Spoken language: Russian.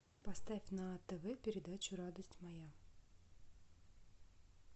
поставь на тв передачу радость моя